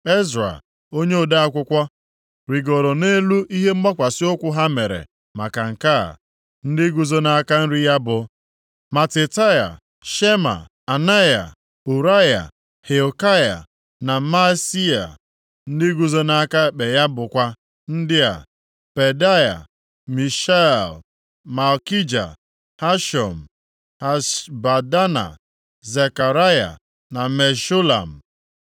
Ezra onye ode akwụkwọ, rigoro nʼelu ihe mgbakwasị ụkwụ ha mere maka nke a. Ndị guzo nʼaka nri ya bụ, Matitaia, Shema, Anaia, Ụraya, Hilkaya na Maaseia. Ndị guzo nʼaka ekpe ya bụkwa ndị a: Pedaia, Mishael, Malkija, Hashum, Hashbadana, Zekaraya na Meshulam.